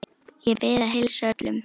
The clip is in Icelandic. Ég bið að heilsa öllum.